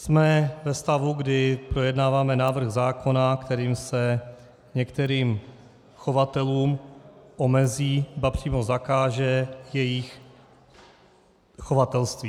Jsme ve stavu, kdy projednáváme návrh zákona, kterým se některým chovatelům omezí, ba přímo zakáže jejich chovatelství.